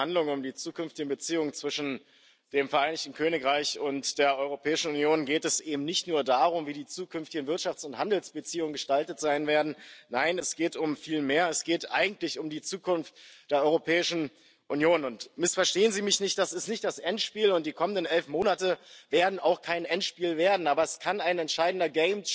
Bei den Verhandlungen über die zukünftigen Beziehungen zwischen dem Vereinigten Königreich und der Europäischen Union geht es eben nicht nur darum, wie die zukünftigen Wirtschafts und Handelsbeziehungen gestaltet sein werden nein, es geht um viel mehr Es geht eigentlich um die Zukunft der Europäischen Union und missverstehen Sie mich nicht, das ist nicht das Endspiel, und die kommenden elf Monate werden auch kein Endspiel werden, aber es kann ein entscheidender